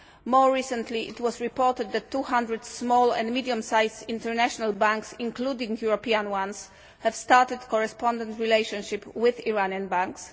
More recently, it was reported that 200 small and medium sized international banks, including European ones, have started correspondent relationship with Iranian banks.